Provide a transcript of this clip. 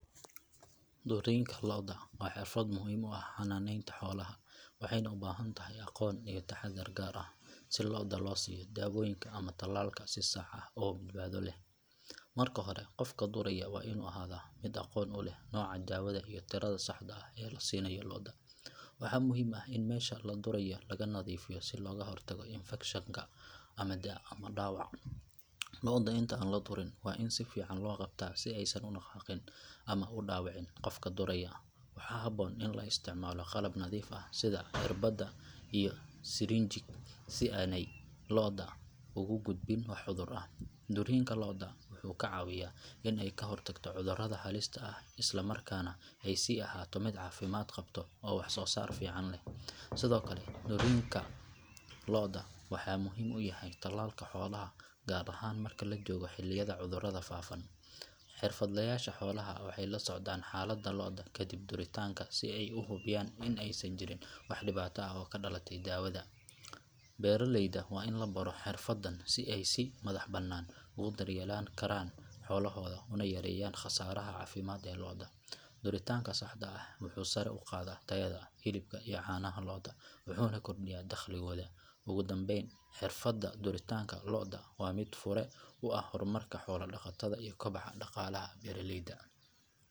Duriinka lo’da waa xirfad muhiim u ah xanaaneynta xoolaha waxayna u baahan tahay aqoon iyo taxaddar gaar ah si lo’da loo siiyo daawooyinka ama tallaalka si sax ah oo badbaado leh. Marka hore qofka duraya waa inuu ahaadaa mid aqoon u leh nooca daawada iyo tirada saxda ah ee la siinayo lo’da. Waxaa muhiim ah in meesha la durayo laga nadiifiyo si looga hortago infekshan ama dhaawac. Lo’da inta aan la durin waa in si fiican loo qabtaa si aysan u dhaqaaqin ama u dhaawicin qofka duraya. Waxaa habboon in la isticmaalo qalab nadiif ah sida irbadda iyo sirinjiig si aanay lo’da ugu gudbin wax cudur ah. Duriinka lo’da wuxuu ka caawiyaa in ay ka hortagto cudurrada halista ah islamarkaana ay sii ahaato mid caafimaad qabta oo wax soo saar fiican leh. Sidoo kale duritaanka lo’da wuxuu muhiim u yahay tallaalka xoolaha gaar ahaan marka la joogo xilliyada cudurrada faafaan. Xirfadlayaasha xoolaha waxay la socdaan xaaladda lo’da ka dib duritaanka si ay u hubiyaan in aysan jirin wax dhibaato ah oo ka dhalatay daawada. Beeraleyda waa in la baro xirfaddan si ay si madaxbannaan ugu daryeeli karaan xoolahooda una yareeyaan khasaaraha caafimaad ee lo’da. Duritaanka saxda ah wuxuu sare u qaadaa tayada hilibka iyo caanaha lo’da wuxuuna kordhiyaa dakhligooda. Ugu dambayn xirfadda duritaanka lo’da waa mid fure u ah horumarka xoolo dhaqatada iyo koboca dhaqaalaha beeraleyda.